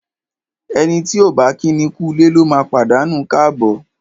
Ẹni tí ọ̀ bá kíni kúulé lóma pàdánù káàbọ̀.